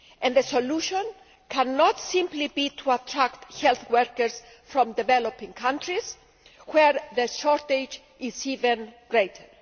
The solution cannot simply be to attract health workers from developing countries, where the shortage is even greater.